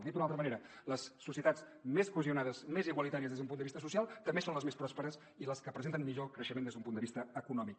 dit d’una altra manera les societats més cohesionades més igualitàries des d’un punt de vista social també són les més pròsperes i les que presenten millor creixement des d’un punt de vista econòmic